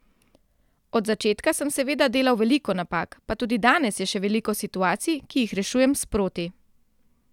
Od začetka sem seveda delal veliko napak, pa tudi danes je še veliko situacij, ki jih rešujem sproti.